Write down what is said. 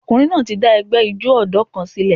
Ọkùnrin náà ti dá ẹgbẹ́ ijó ọ̀dọ́ kan sílẹ̀.